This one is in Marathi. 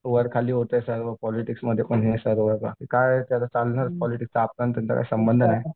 वर खाली होतंय सर्व पॉलिटिक्समध्ये पण सर्व बाकी काय आहे पॉलिटिक्स काय संबंध नाही